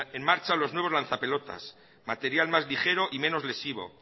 en marcha los nuevos lanzapelotas material más ligero y menos lesivo